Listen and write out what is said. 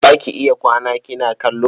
Za ki iya kwana kina kallo?